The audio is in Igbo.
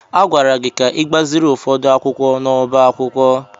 A gwara gị ka gbaziri ụfọdụ akwụkwọ n'ọbá akwụkwọ!